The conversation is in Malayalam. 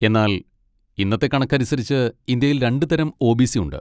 എന്നാൽ ഇന്നത്തെ കണക്കനുസരിച്ച് ഇന്ത്യയിൽ രണ്ട് തരം ഒ.ബി.സി. ഉണ്ട്.